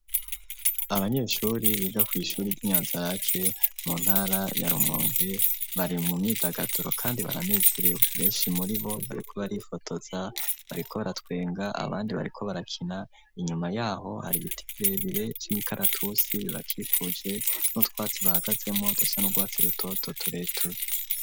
Abanyeshure biga kw'ishure ry'inyanza rake mu ntara ya rumonge bari mu myidagaduro kandi baranezerewe, benshi muri bo bariko barifotoza bariko baratwenga abandi bariko barakina, inyuma yaho hari ibiti birebire cy'imikaratusi bibakikuje nutwatsi bahagazemo daca nurwatsi rutoto tureture.